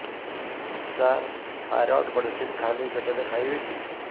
ସାର thyroid medicine ଖାଲି ପେଟରେ ଖାଇବି କି